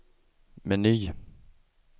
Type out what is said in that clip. meny